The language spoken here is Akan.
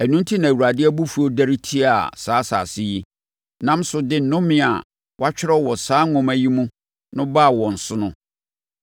Ɛno enti na Awurade abufuo dɛre tiaa saa asase yi, nam so de nnome a wɔatwerɛ wɔ saa nwoma yi mu no baa wɔn so no.